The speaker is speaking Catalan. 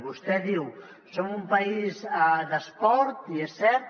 vostè diu som un país d’esport i és cert